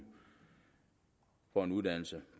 for en uddannelse